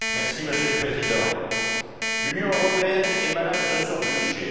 Monsieur le Président, l'Union européenne est malade de son budget.